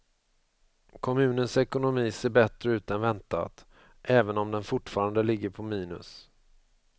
Kommunens ekonomi ser bättre ut än väntat, även om den fortfarande ligger på minus.